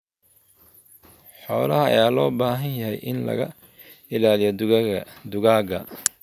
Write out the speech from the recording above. Xoolaha ayaa loo baahan yahay in laga ilaaliyo dugaagga.